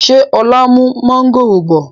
Ṣé ọ̀la n mú mọ̀ngòrò bọ̀?